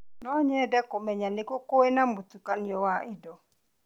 No nyende kũmenya nĩ kũ kwĩna mũtukanio wa indo.